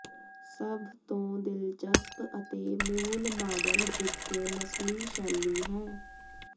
ਸਭ ਤੋਂ ਦਿਲਚਸਪ ਅਤੇ ਮੂਲ ਮਾਡਲ ਇੱਕ ਨਸਲੀ ਸ਼ੈਲੀ ਹੈ